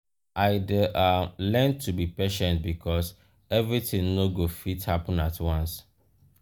i dey um learn to be patient because everything no go fit happen at once.